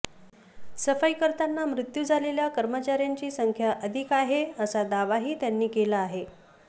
सफाई करताना मृत्यू झालेल्या कर्मचार्यांची संख्या अधिक आहे असा दावाही त्यांनी केला आहे